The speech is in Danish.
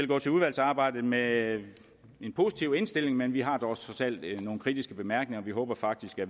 gå til udvalgsarbejdet med en positiv indstilling men vi har dog trods alt nogle kritiske bemærkninger vi håber faktisk at